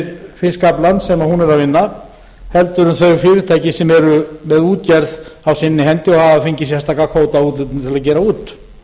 fiskaflann sem hún er að vinna heldur en þau fyrirtæki sem eru með útgerð á sinni hendi og hafa fengið sérstaka kvótaúthlutun til að gera út